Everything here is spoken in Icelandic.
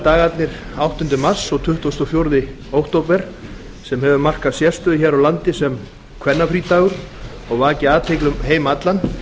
dagarnir áttunda mars og tuttugasta og fjórða október sem hefur markað sérstöðu hér á landi sem kvennafrídagur og vakið athygli um heim allan